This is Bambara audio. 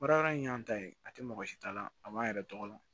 Baara yɔrɔ in y'an ta ye a tɛ mɔgɔ si ta la a man yɛrɛ tɔgɔ la